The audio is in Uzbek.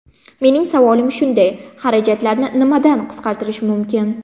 Mening savolim shunday: xarajatlarni nimadan qisqartirish mumkin?